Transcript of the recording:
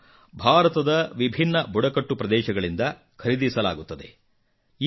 ಇದನ್ನು ಭಾರತದ ವಿಭಿನ್ನ ಬುಡಕಟ್ಟು ಪ್ರದೇಶಗಳಿಂದ ಖರೀದಿಸಲಾಗುತ್ತದೆ